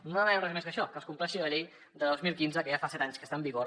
no demanem res més que això que es compleixi la llei del dos mil quinze que ja fa set anys que està en vigor